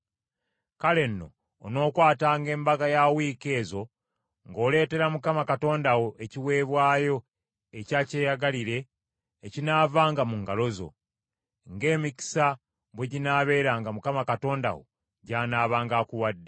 Kale nno onookwatanga Embaga ya Wiiki ezo ng’oleetera Mukama Katonda wo ekiweebwayo ekya kyeyagalire ekinaavanga mu ngalo zo, ng’emikisa bwe ginaabeeranga Mukama Katonda wo gy’anaabanga akuwadde.